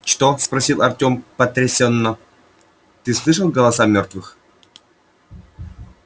что спросил артём потрясенно ты слышал голоса мёртвых